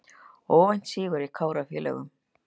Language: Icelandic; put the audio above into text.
Óvæntur sigur hjá Kára og félögum